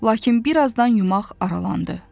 Lakin bir azdan yumaq aralandı.